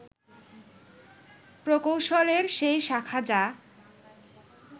প্রকৌশলের সেই শাখা যা